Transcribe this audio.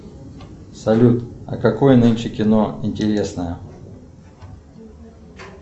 салют а какое нынче кино интересное